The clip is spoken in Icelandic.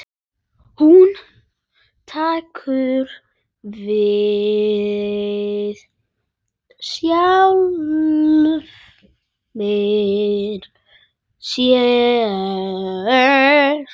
Hún tekur við sjálfri sér.